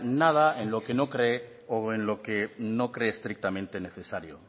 nada en lo que no cree o en lo que no cree estrictamente necesario